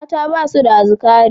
Mata ba su da azzakari.